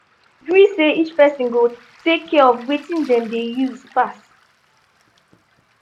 we gree say each person go take care of wetin dem dey use pass.